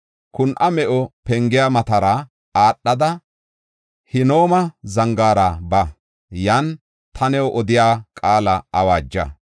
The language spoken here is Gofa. Kun7a Me7o Pengiya matara aadhada, Hinooma Zangaara ba; yan ta new odiya qaala awaaja.